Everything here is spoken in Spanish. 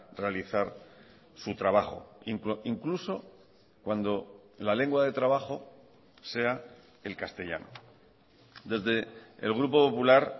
realizar su trabajo incluso cuando la lengua de trabajo sea el castellano desde el grupo popular